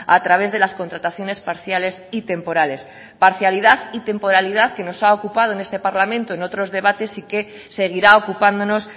a través de las contrataciones parciales y temporales parcialidad y temporalidad que nos ha ocupado en este parlamento en otros debates y que seguirá ocupándonos